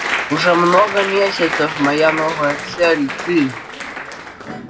уже много месяцев моя новая цель ты